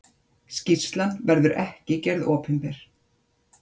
Skýrslan verður ekki gerð opinber.